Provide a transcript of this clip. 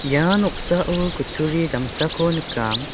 ia noksao kutturi damsako nikam .